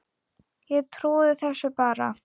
Ég trúi þessu bara.